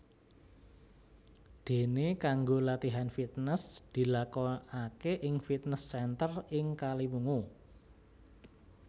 Dene kanggo latihan fitnes dilakokake ing fitnes center ing Kaliwungu